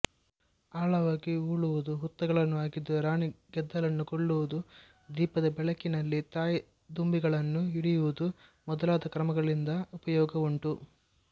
ಆಳವಾಗಿ ಉಳುವುದು ಹುತ್ತಗಳನ್ನು ಅಗೆದು ರಾಣಿ ಗೆದ್ದಲನ್ನು ಕೊಲ್ಲುವುದು ದೀಪದ ಬೆಳಕಿನಲ್ಲಿ ತಾಯಿದುಂಬಿಗಳನ್ನು ಹಿಡಿಯುವುದು ಮೊದಲಾದ ಕ್ರಮಗಳಿಂದ ಉಪಯೋಗ ಉಂಟು